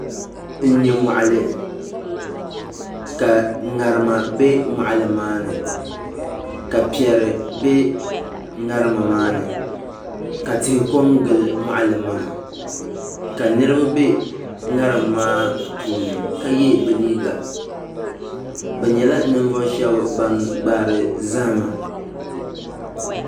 N nyɛ moɣali ka ŋarima bɛ moɣali maa ni ka piɛri bɛ ŋarima maa ni ka tihi ko n gili moɣali maa ka niraba bɛ ŋatim maa puuni ka yɛ bi liiga bi nyɛla ninvuɣu shab ban gbahari zahama